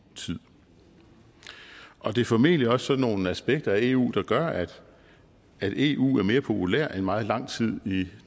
tid og det er formentlig også sådan nogle aspekter af eu der gør at eu er mere populært end i meget lang tid i